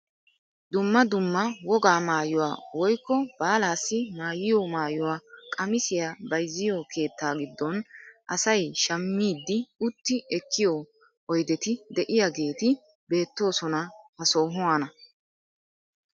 Dumma dumma wogaa maayuwaa woykko baalaassi maayiyo maayuwaa qamisiyaa bayzziyoo keettaa giddon asay shammiidi utti ekkiyoo oydeti de'iyaageti beettoosona ha sohuwaan.